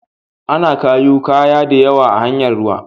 Ana kayu kaya diyawa ta hanyar ruwa.